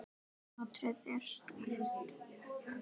Hatrið er sterkt.